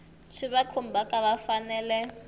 swi va khumbhaka va fanele